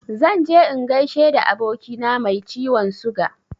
Zan je in gaishe da abokina mai ciwon suga.